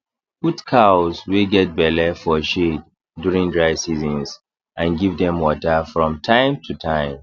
put cows wey get belle for shade during dry seasons and give dem water from time to time